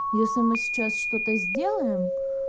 если мы сейчас что-то сделаем